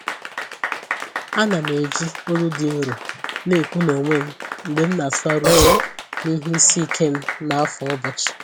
Ana m eji olu dị nro na-ekwu n’onwe m mgbe m na-atụgharị uche n’ihe isi ike m n’afọ ụbọchị.